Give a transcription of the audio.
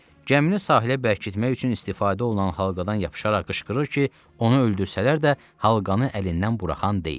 Gəmini sahilə bərkitmək üçün istifadə olunan halqadan yapışaraq qışqırır ki, onu öldürsələr də halqanı əlindən buraxan deyil.